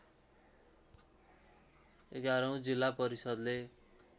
एघारौँ जिल्ला परिषद्ले